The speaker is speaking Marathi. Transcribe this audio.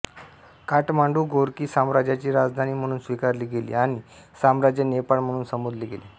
काठमांडू गोर्की साम्राज्याची राजधानी म्हणून स्वीकारली गेली आणि साम्राज्य नेपाळ म्हणून संबोधले गेले